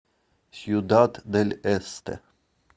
сьюдад дель эсте